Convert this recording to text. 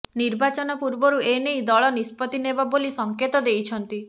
ନିର୍ବାଚନ ପୂର୍ବରୁ ଏନେଇ ଦଳ ନିଷ୍ପତ୍ତି ନେବ ବୋଲି ସଂକେତ ଦେଇଛନ୍ତି